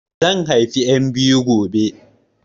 Zan haifi 'yan biyu gobe